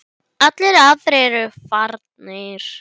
Allir aðrir eru farnir.